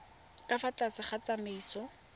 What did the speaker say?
ka fa tlase ga tsamaiso